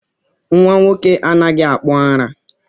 Nnwa nwoke anaghị akpụ ara